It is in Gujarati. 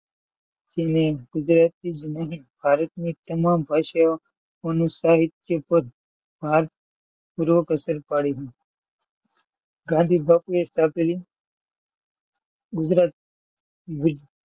ગુજરાતની જ નહીં ભારતની તમામ સાહિત્ય પદ પર ભારપૂર્વક અસર પાડી હતી ગાંધીબાપુએ સ્થાપેલી ગુજરાતની ગુજ,